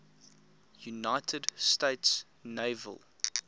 united states naval